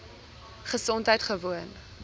gesondheidgewoon